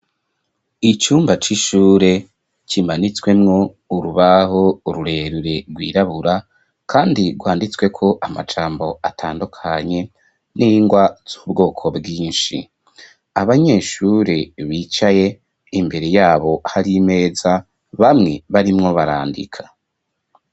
Icumba c'ishure kimanitswemwo urubaho rurerure rwirabura, kandi rwanditsweko amajambo atandukanye n'ingwa z'ubwoko bwinshi, abanyeshure bicaye, imbere yabo hari imeza, bamwe barimwo barandika.